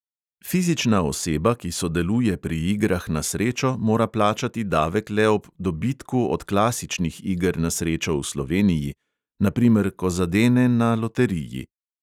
Fizična oseba, ki sodeluje pri igrah na srečo, mora plačati davek le ob dobitku od klasičnih iger na srečo v sloveniji, na primer ko zadene na loteriji.